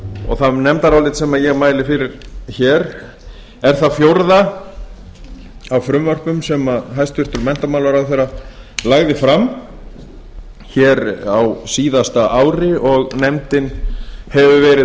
og það nefndarálit sem ég mæli fyrir hér er það fjórða af frumvörpum sem hæstvirtur menntamálaráðherra lagði fram hér á síðasta ári og nefndin hefur verið